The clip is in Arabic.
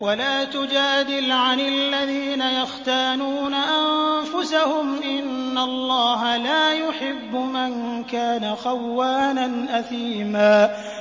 وَلَا تُجَادِلْ عَنِ الَّذِينَ يَخْتَانُونَ أَنفُسَهُمْ ۚ إِنَّ اللَّهَ لَا يُحِبُّ مَن كَانَ خَوَّانًا أَثِيمًا